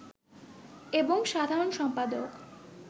এবং সাধারণ সম্পাদক